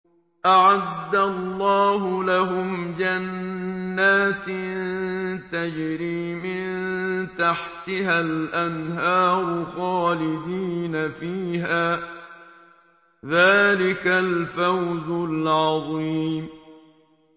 أَعَدَّ اللَّهُ لَهُمْ جَنَّاتٍ تَجْرِي مِن تَحْتِهَا الْأَنْهَارُ خَالِدِينَ فِيهَا ۚ ذَٰلِكَ الْفَوْزُ الْعَظِيمُ